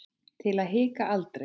Til að hika aldrei.